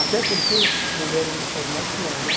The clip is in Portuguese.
Até porque mulher hoje faz mais que homem.